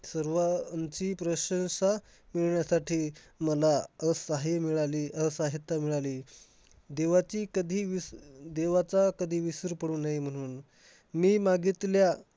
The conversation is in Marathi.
सर्वांची प्रशंसा मिळण्यासाठी मला असह्य मिळाली असहायता मिळाली. देवाची कधी वीस~ देवाचा कधी विसर पडू नये म्ह्णून मी मागितल्या